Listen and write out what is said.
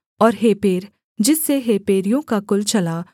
और हेपेर जिससे हेपेरियों का कुल चला